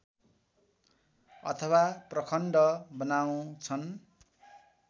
अथवा प्रखण्ड बनाउँछन्